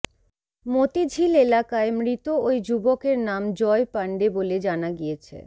মোতিঝিল এলাকায় মৃত ওই যুবকের নাম জয় পাণ্ডে বলে জানা গিয়েছে